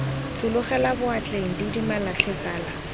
tshologela boatleng didimala tlhe tsala